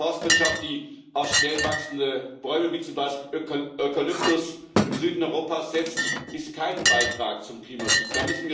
Eine Forstwirtschaft, die auf schnell wachsende Bäume wie zum Beispiel Eukalyptus im Süden Europas setzt, ist kein Beitrag zum Klimaschutz.